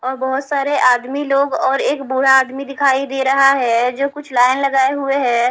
और बहोत सारे आदमी लोग और एक बूढ़ा आदमी दिखाई दे रहा है जो कुछ लाइन लगाए हुए हैं।